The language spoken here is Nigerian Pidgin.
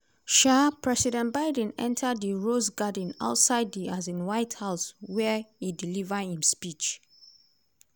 um president biden enta di rose garden outside di um white house wia e deliver im speech.